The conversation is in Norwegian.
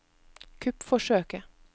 kuppforsøket